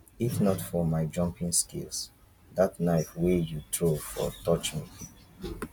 if not for my jumping skills dat knife wey you throw for touch me